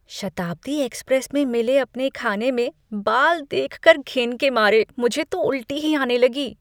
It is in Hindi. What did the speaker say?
शताब्दी एक्सप्रेस में मिले अपने खाने में बाल देखकर घिन के मारे मुझे तो उलटी ही आने लगी।